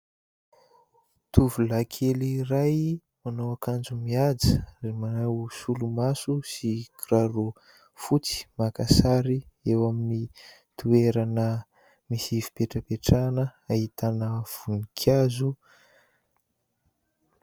Tovolahikely iray manao akanjo mihaja ary manao solomaso sy kiraro fotsy, maka sary eo amin'ny toerana misy fipetrapehatrana ahitana voninkazo.